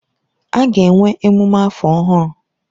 A ga-enwe emume afọ ọhụrụ.